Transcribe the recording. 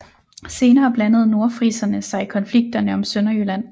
Senere blandede nordfriserne sig i konflikterne om Sønderjylland